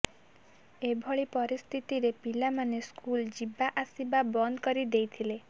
ଏଭଳି ସ୍ଥିତିରେ ପିଲାମାନେ ସ୍କୁଲ ଯିବା ଆସିବା ବନ୍ଦ କରି ଦେଇଥିଲେ